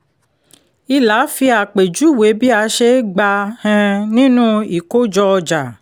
ìlà fi àpèjúwe bí a ṣe gba um nínú ìkojọ-ọjà